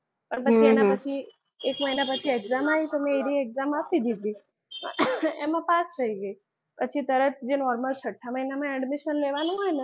પણ પછી એના પછી એક મહિના પછી એક્ઝામ આવીને તો મેં એની exam આપી દીધી. એમાં પાસ થઈ ગઈ. પછી તરત જે normal છઠ્ઠા મહિનામાં admission લેવાનું હોય ને.